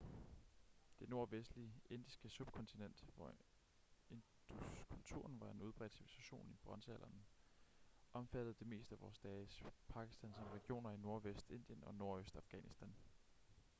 det nordvestlige indiske subkontinent hvor induskulturen var en udbredt civilisation i bronzealderen omfattede det meste af vore dages pakistan samt regioner i nordvest indien og nordøst afghanistan